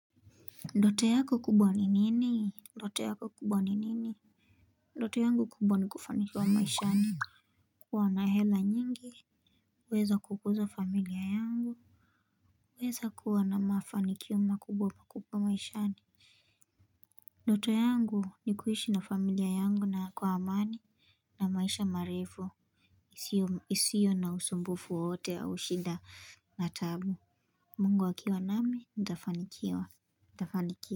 Ndoto yako kubwa ni nini ndoto yako kubwa ni nini ndoto yangu kubwa ni kufaniwa maishani kuwa na hela nyingi kuweza kukuza familia yangu kuweza kuwa na mafanikio makubwa kubwa maishani ndoto yangu ni kuishi na familia yangu na kwa amani na maisha marefu isiyo na usumbufu wowote au shida na tabu mungu akiwa nami ntafanikiwa ntafanikiwa.